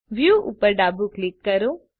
view ઉપર ડાબું click કરો